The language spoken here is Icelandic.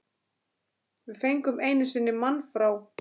Við fengum einu sinni mann frá